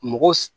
Mɔgɔ